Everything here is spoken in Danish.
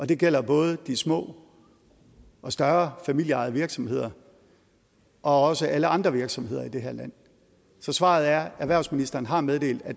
det gælder både de små og større familieejede virksomheder og også alle andre virksomheder i det her land så svaret er at erhvervsministeren har meddelt at